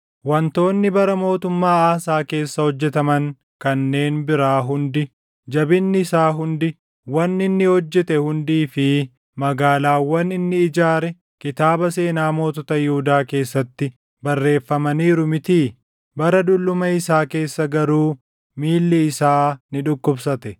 Wantoonni bara mootummaa Aasaa keessa hojjetaman kanneen biraa hundi, jabinni isaa hundi, wanni inni hojjete hundii fi magaalaawwan inni ijaare kitaaba seenaa mootota Yihuudaa keessatti barreeffamaniiru mitii? Bara dulluma isaa keessa garuu miilli isaa ni dhukkubsate.